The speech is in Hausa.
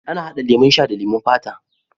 Ana hada lemo sha da leman fata.